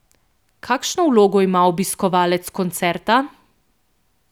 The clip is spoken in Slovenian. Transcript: Kakšno vlogo ima obiskovalec koncerta?